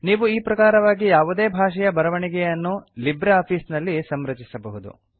ನೀವು ಈ ಪ್ರಕಾರವಾಗಿ ಯಾವುದೇ ಭಾಷೆಯ ಬರವಣಿಗೆಯನ್ನು ಲಿಬ್ರೆ ಆಫೀಸ್ ನಲ್ಲಿ ಸಂರಚಿಸಬಹುದು